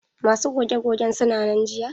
Masu goge gogen suna nan jiya?